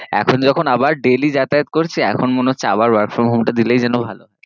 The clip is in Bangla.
এখন যখন আবার daily যাতায়াত করছি, এখন মনেহচ্ছে আবার work from home টা দিলেই যেন ভালো